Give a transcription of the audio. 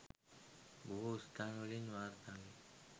බොහෝ ස්ථාන වලින් වාර්තා විය